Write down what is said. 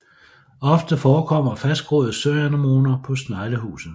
Ofte forekommer fastgroede søanemoner på sneglehuset